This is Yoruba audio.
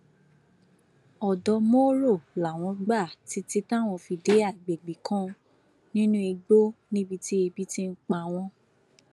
ọdọ mòro làwọn gbà títí táwọn fi dé àgbègbè kan nínú igbó níbi tí ebi ti ń pa wọn